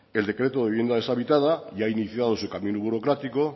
el decreto de vivienda deshabitada ya ha iniciado su camino burocrático